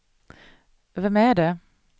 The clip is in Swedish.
vem är det